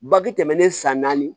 Baki tɛmɛnen san naani